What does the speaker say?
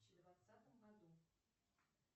двадцатом году